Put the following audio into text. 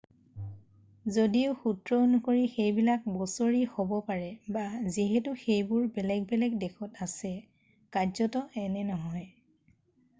যদিও সূত্ৰ অনুসৰি সেইবিলাক বছৰি হ'ব পাৰে যিহেতু সেইবোৰ বেলেগ বেলেগ দেশত আছে কাৰ্যতঃ এনে নহয়।